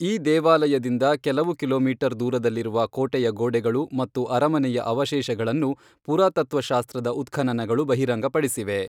ಈ ದೇವಾಲಯದಿಂದ ಕೆಲವು ಕಿಲೋಮೀಟರ್ ದೂರದಲ್ಲಿರುವ ಕೋಟೆಯ ಗೋಡೆಗಳು ಮತ್ತು ಅರಮನೆಯ ಅವಶೇಷಗಳನ್ನು ಪುರಾತತ್ತ್ವ ಶಾಸ್ತ್ರದ ಉತ್ಖನನಗಳು ಬಹಿರಂಗಪಡಿಸಿವೆ.